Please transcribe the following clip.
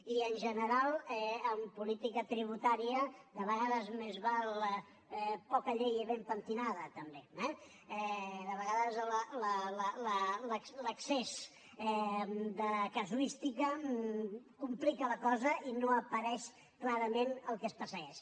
i en general en política tributària de vegades més val poca llei i ben pentinada també eh de vegades l’excés de casuística complica la cosa i no apareix clarament el que es persegueix